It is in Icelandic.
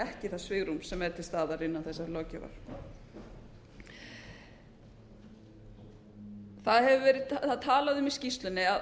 ekki það svigrúm sem er til staðar innan þessarar löggjafar það er talað um í skýrslunni að